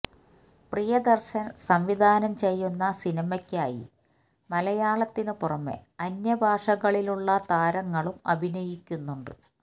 പ്രിയദര്ശന് സംവിധാനം ചെയ്യുന്ന സിനിമയ്ക്കായി മലയാളത്തിനു പുറമെ അന്യഭാഷകളിലുളള താരങ്ങളും അഭിനയിക്കുന്നുണ്ട്